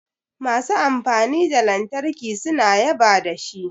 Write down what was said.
Masu amfani da lantarki suna yaba da shi